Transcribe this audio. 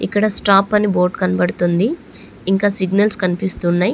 ఇక్కడ స్టాప్ అని బోర్డు కనబడుతుంది. ఇంకా సిగ్నల్స్ కనిపిస్తూ ఉన్నయ్.